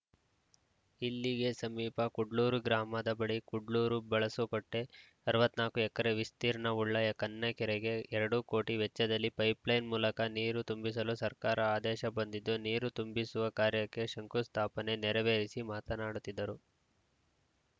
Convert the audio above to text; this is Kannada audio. ಇಲ್ಲಿಗೆ ಸಮೀಪ ಕುಡ್ಲೂರು ಗ್ರಾಮದ ಬಳಿ ಕುಡ್ಲೂರು ಬಳಸೋಕಟ್ಟೆ ಅರವತ್ತ್ ನಾಕು ಎಕರೆ ವಿಸ್ತ್ರೀರ್ಣವುಳ್ಳ ಕನ್ನಕೆರೆಗೆ ಎರಡು ಕೋಟಿ ವೆಚ್ಚದಲ್ಲಿ ಪೈಪ್‌ಲೈನ್‌ ಮೂಲಕ ನೀರು ತುಂಬಿಸಲು ಸರ್ಕಾರ ಆದೇಶ ಬಂದಿದ್ದು ನೀರು ತುಂಬಿಸುವ ಕಾರ್ಯಕ್ಕೆ ಶಂಕುಸ್ಥಾಪನೆ ನೆರವೇರಿಸಿ ಮಾತನಾಡುತ್ತಿದ್ದರು